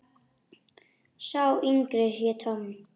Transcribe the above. Sá yngri hét Tom.